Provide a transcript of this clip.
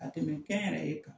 Ka tɛmɛ kɛnyɛrɛ ye kan.